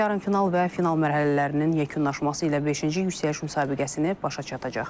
Yarımfinal və final mərhələlərinin yekunlaşması ilə beşinci yüksəliş müsabiqəsini başa çatacaq.